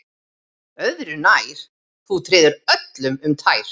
Öðru nær, þú treður öllum um tær